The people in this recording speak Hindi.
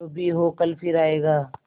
जो भी हो कल फिर आएगा